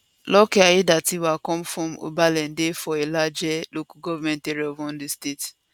lucky aiyedatiwa come from obenla for ilaje local government area of ondo state